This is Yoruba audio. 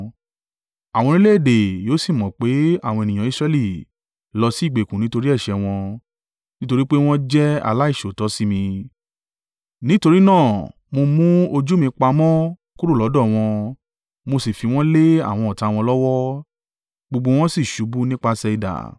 Àwọn orílẹ̀-èdè yóò sì mọ̀ pé àwọn ènìyàn Israẹli lọ sí ìgbèkùn nítorí ẹ̀ṣẹ̀ wọn, nítorí pé wọ́n jẹ́ aláìṣòótọ́ sí mi. Nítorí náà mo mú ojú mi pamọ́ kúrò lọ́dọ̀ wọn, mo sì fi wọn lé àwọn ọ̀tá wọn lọ́wọ́, gbogbo wọn sì ṣubú nípasẹ̀ idà.